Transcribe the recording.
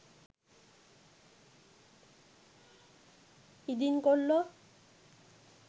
ඉදින් කොල්ලො